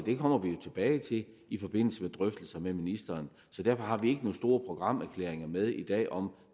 kommer vi jo tilbage til i forbindelse med drøftelser med ministeren derfor har vi ikke store programerklæringer med i dag om